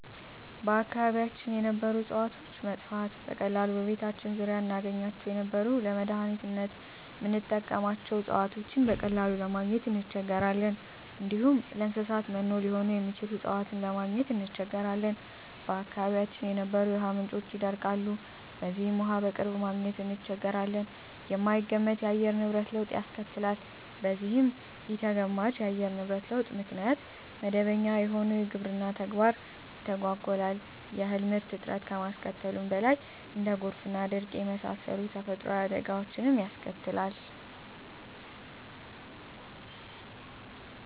በአካባቢያችን የነበሩ እጽዋቶች መጥፋት፤ በቀላሉ በቤታችን ዙሪያ እናገኛቸው የነበሩ ለመዳኒትነት ምንጠቀምባቸው እጽዋቶችን በቀላሉ ለማግኝ እንቸገራለን፣ እንዲሁም ለእንሰሳት መኖ ሊሆኑ የሚችሉ እጽዋትን ለማግኘት እንቸገራለን፣ በአካባቢያችን የነበሩ የውሃ ምንጮች ይደርቃሉ በዚህም ውሃ በቅርብ ማግኘት እንቸገራለን፣ የማይገመት የአየር ንብረት ለውጥ ያስከትላል በዚህም ኢተገማች የአየር ንብረት ለውጥ ምክንያት መደበኛ የሆነው የግብርና ተግባር ይተጓጎላል የእህል ምርት እጥረት ከማስከተሉም በላይ እንደ ጎርፍና ድርቅ የመሳሰሉ ተፈጥሮአዊ አደጋወችንም ያስከትላል።